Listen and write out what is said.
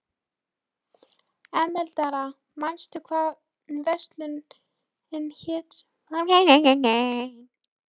Emeralda, manstu hvað verslunin hét sem við fórum í á miðvikudaginn?